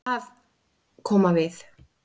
Að koma við